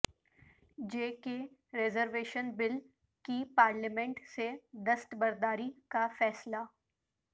جے K reservation bill کی parliament سے دستبرداری کا فیصلہ